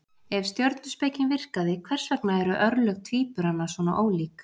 Ef stjörnuspekin virkaði, hvers vegna eru örlög tvíburana svona ólík?